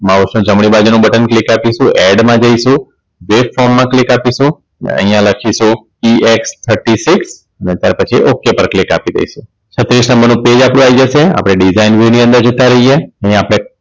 Mouse ની જમણી બાજુ નું બટન Click આપીશું add માં જઈશું જે માં Click આપીશું અહીંયા લખીશું ex Thirty six ને ત્યાર પછી ok પર Click આપી દઈશું. છત્રીશ નંબરનું page આપણું આવી જશે આપણે Data Engv ની અંદર જતા રહીએ અહીં આપણે